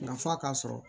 Nka f'a ka sɔrɔ